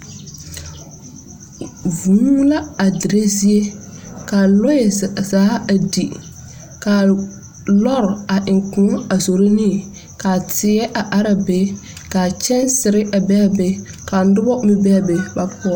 Vūū la a dire zie. Ka lɔɛ zaa a di. Ka lɔɔr a eŋ kõɔ a zoro ne, ka teɛ a araa be ka kyansere a be a be ka noba meŋ be a be ba poɔrɔ.